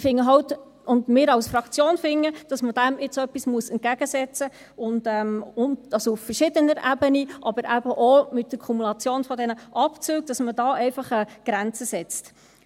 Wir als Fraktion finden, dass man dem jetzt etwas entgegensetzen muss, auf verschiedenen Ebenen, aber dass man der Kumulation dieser Abzüge eben auch eine Grenze setzt.